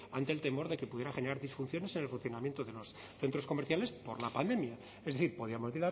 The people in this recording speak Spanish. ante el temor de que pudiera generar disfunciones en el funcionamiento de los centros comerciales por la pandemia es decir podíamos